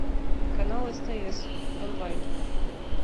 канал стс онлайн